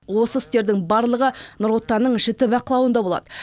осы істердің барлығы нұр отанның жіті бақылауында болады